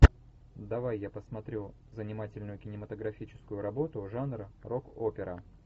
давай я посмотрю занимательную кинематографическую работу жанра рок опера